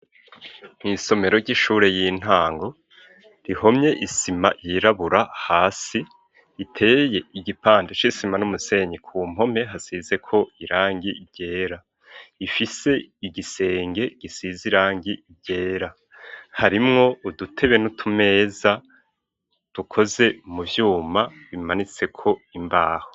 Mw'isomero ry'ishure y'intango rihomye isima yirabura hasi, iteye igipande c'isima n'umusenyi. Ku mpome hasizeko irangi ryera, ifise igisenge gisize irangi ryera, harimwo udutebe n'utumeza dukoze mu vyuma bimanitseko imbaho.